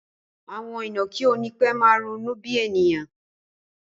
Àwọn ìnàkí ó nipe máa ronú bí ènìyàn